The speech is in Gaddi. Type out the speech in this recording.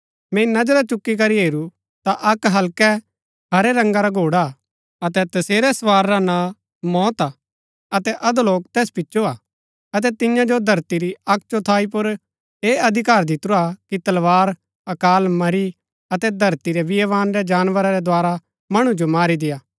मैंई नजरा चूकी करी हेरू ता अक्क हल्कै हरै रंगा रा घोड़ा हा अतै तसेरै सवार रा नां मौत हा अतै अधोलोक तैस पिचो हा अतै तियां जो धरती री अक्क चौथाई पुर ऐह अधिकार दितुरा कि तलवार अकाल मरी अतै धरती रै वणा रै जानवरा रै द्धारा मणु जो मारी देय्आ